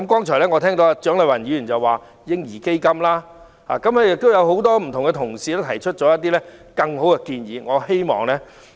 蔣麗芸議員剛才建議設立嬰兒基金，亦有多位同事提出其他很好的建議。